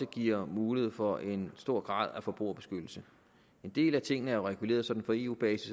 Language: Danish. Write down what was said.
giver mulighed for en stor grad af forbrugerbeskyttelse en del af tingene er jo reguleret sådan på eu basis